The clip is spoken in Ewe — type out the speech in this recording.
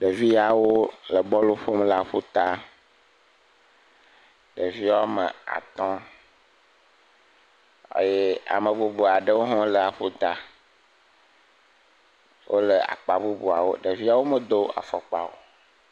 Ɖeviwo le bɔlu ƒom le aƒuta ɖeviwo ame atɔ eye ame bubu aɖewo ha le aƒuta wole akpa bubuwo ɖeviawo medo afɔkpa o